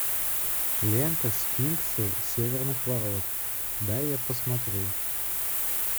лента сфинксы северных ворот дай я посмотрю